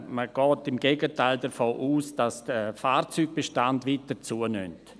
Im Gegenteil, man geht davon aus, dass der Fahrzeugbestand weiter zunimmt.